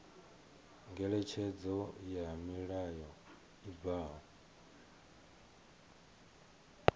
ngeletshedzo ya mulayo i bvaho